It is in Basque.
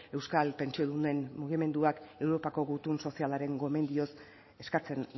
euskal pentsiodunen mugimenduak europako gutun sozialaren gomendioz eskatzen